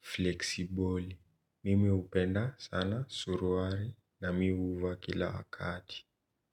fleksiboli. Mimi upenda sana suruwali na mi uva kila wakati.